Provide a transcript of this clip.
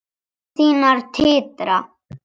Og kinnar þínar titra.